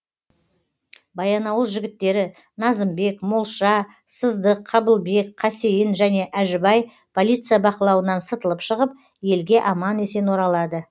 баянауыл жігіттері назымбек молша сыздық қабылбек қасейін және әжібай полиция бақылауынан сытылып шығып елге аман есен оралады